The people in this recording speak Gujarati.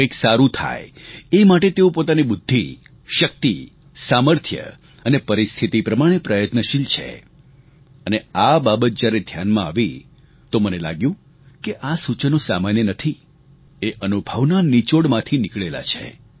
કંઈક સારું થાય એ માટે તેઓ પોતાની બુદ્ધિ શક્તિ સામર્થ્ય અને પરિસ્થિતિ પ્રમાણે પ્રયત્નશીલ છે અને આ બાબત જ્યારે ધ્યાનમાં આવી તો મને લાગ્યું કે આ સૂચનો સામાન્ય નથી એ અનુભવના નિચોડમાંથી નીકળેલાં છે